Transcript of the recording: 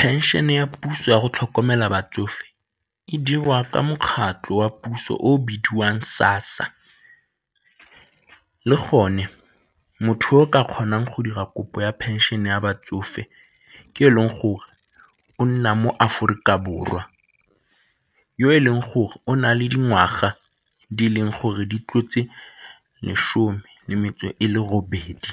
Phenšene ya puso ya go tlhokomela batsofe e dirwa ka mokgatlho wa puso o o bidiwang SASSA, le gone motho yo o ka kgonang go dira kopo ya phenšene ya batsofe ke e leng gore o nna mo Aforika Borwa, yo e leng gore o na le dingwaga di e leng gore di tlotse lesome le metse e le robedi